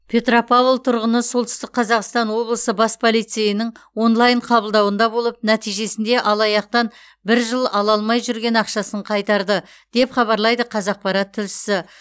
петропавл тұрғыны солтүстік қазақстан облысы бас полицейінің онлайн қабылдауында болып нәтижесінде алаяқтан бір жыл ала алмай жүрген ақшасын қайтарды деп хабарлайды қазақпарат тілшісі